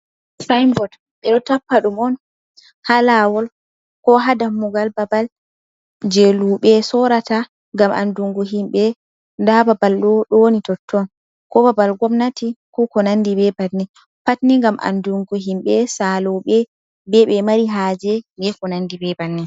Sain bot, ɓe ɗo tappa ɗum on ha laawol, ko ha dammugal babal je luuɓe sorata, ngam andungu himɓe nda babal ɗo ɗo woni totton, ko babal gomnati, ko ko nandi be banin. Pat ni ngam andungo himɓe saaloɓe be ɓe mari haaje be ko nandi be banin.